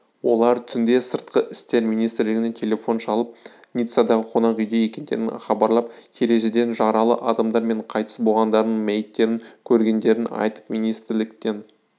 олар түнде сыртқы істер министрлігіне телефон шалып ниццадағы қонақүйде екендерін хабарлап терезеден жаралы адамдар мен қайтыс болғандардың мәйіттерін көргендерін айтып министрліктен